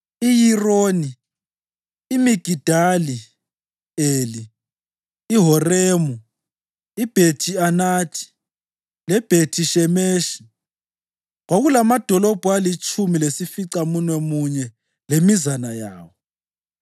iYironi, iMigidali-Eli, iHoremu, iBhethi-Anathi leBhethi-Shemeshi. Kwakulamadolobho alitshumi lesificamunwemunye lemizana yawo.